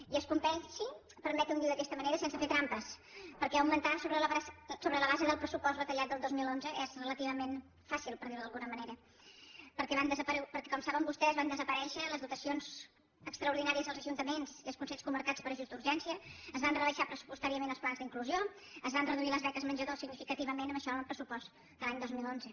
i es compleixi permeti’m dirho d’aquesta manera sense fer trampes perquè augmentar sobre la base del pressupost retallat del dos mil onze és relativament fàcil per dir ho d’alguna manera perquè com saben vostès van desaparèixer les dotacions extraordinàries als ajuntaments i als consells comarcals per a ajuts d’urgència es van rebaixar pressupostàriament els plans d’inclusió es van reduir les beques menjador significativament abaixant el pressupost de l’any dos mil onze